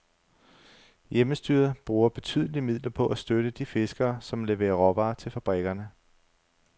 Hjemmestyret bruger betydelige midler på at støtte de fiskere, som leverer råvarer til fabrikkerne.